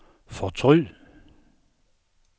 fortryd